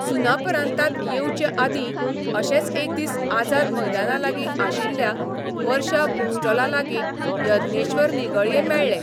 सुनापरान्तांत येवचेआदीं अशेच एक दीस आझाद मैदानालागीं आशिल्ल्या वर्षा बूक स्टॉलालागीं यज्ञेश्वर निगळ्ये मेळ्ळे.